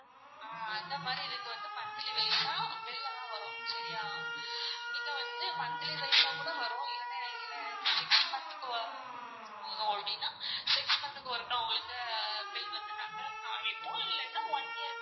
ஆஹ் அந்தமாறி இதுக்கு வந்து monthy wise ஆ bill எல்லாம் வரும் சரியா? நீங்க வந்து monthly wise ஆ கூட வரும் இல்லனா இந்த six month க்கு six month க்கு ஒருக்கா உங்களுக்கு bill வந்து நாங்க காமிப்போம் இல்லாட்டி one year க்கு